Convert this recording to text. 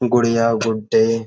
गुड़िया गुड्डे --